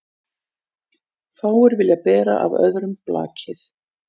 Fáir vilja bera af öðrum blakið.